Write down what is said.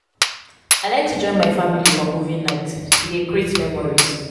i like to join my family for movie nights; e dey create memories.